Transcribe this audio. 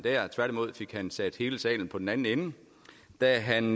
tværtimod fik han sat hele salen på den anden ende da han